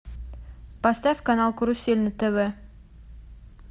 поставь канал карусель на тв